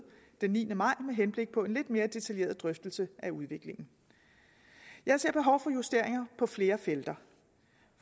den niende maj med henblik på en lidt mere detaljeret drøftelse af udviklingen jeg ser behov for justeringer på flere felter